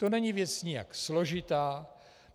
To není věc nijak složitá.